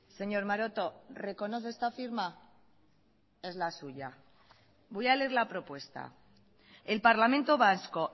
señor maroto reconoce esta firma es la suya voy a leer la propuesta el parlamento vasco